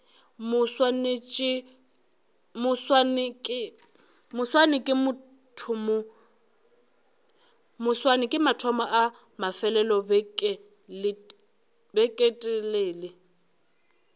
moswane ke mathomo a mafelelobeketelele